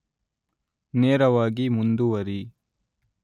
ನೇರವಾಗಿ ಮುಂದುವರಿ